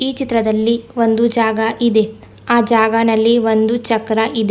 ಈ ಚಿತ್ರದಲ್ಲಿ ಒಂದು ಜಾಗಾ ಇದೆ ಆ ಜಾಗಾನಲ್ಲಿ ಒಂದು ಚಕ್ರಾ ಇದೆ.